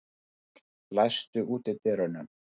Sigurkarl, læstu útidyrunum.